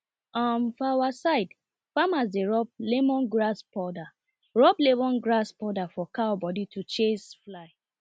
um for our side farmers dey rub lemongrass powder rub lemongrass powder for cow body to chase fly